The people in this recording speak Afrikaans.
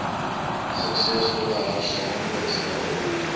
suksesvolle hersaamge stelde